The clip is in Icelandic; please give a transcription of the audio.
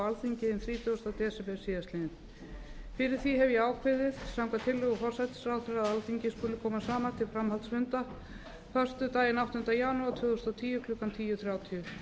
alþingi hinn þrítugasti desember síðastliðnum fyrir því hef ég ákveðið samkvæmt tillögu forsætisráðherra að alþingi skuli koma saman til framhaldsfunda föstudaginn átta janúar tvö þúsund og tíu klukkan tíu þrjátíu